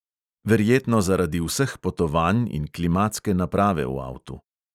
Verjetno zaradi vseh potovanj in klimatske naprave v avtu.